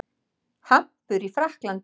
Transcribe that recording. Hampur í Frakklandi.